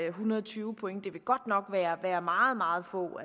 en hundrede og tyve point det vil godt nok være være meget meget få